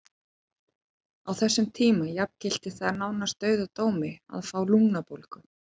Á þessum tíma jafngilti það nánast dauðadómi að fá lungnabólgu.